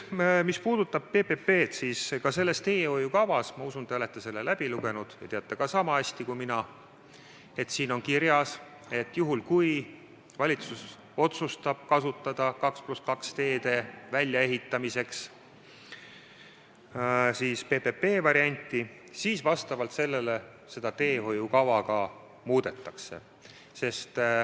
Mis puudutab PPP-d, siis ka selles teehoiukavas – ma usun, et te olete selle läbi lugenud ja teate seda sama hästi kui mina – on kirjas, et juhul kui valitsus otsustab kasutada 2 + 2 teede väljaehitamiseks PPP varianti, siis teehoiukava vastavalt muudetakse.